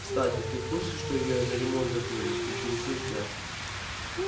кстати ты в курсе что её на ремонт закрыли интересуюсь я